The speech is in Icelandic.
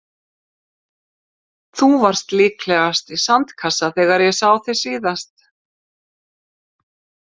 Þú varst líklegast í sandkassa þegar ég sá þig seinast.